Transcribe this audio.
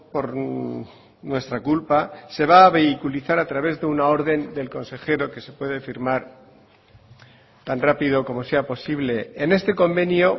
por nuestra culpa se va a vehiculizar a través de una orden del consejero que se puede firmar tan rápido como sea posible en este convenio